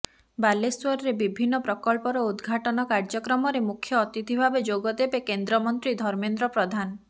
ବାଲେଶ୍ୱରରେ ବିଭିନ୍ନ ପ୍ରକଳ୍ପର ଉଦଘାଟନ କାର୍ଯ୍ୟକ୍ରମରେ ମୁଖ୍ୟ ଅତିଥି ଭାବେ ଯୋଗ ଦେବେ କେନ୍ଦ୍ର ମନ୍ତ୍ରୀ ଧର୍ମେନ୍ଦ୍ର ପ୍ରଧାନ